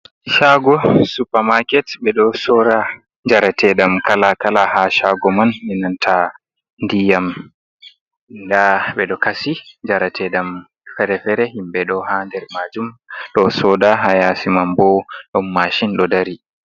Shago supa makeet ɓe ɗo sora njarate ɗam kala kala ha shago man, e mianta ndiyam nda ɓeɗo kasi jarate ɗam fere-fere, himɓe ɗo ha der majum ɗo soda, ha yasiman bo ɗon mashin ɗo dari.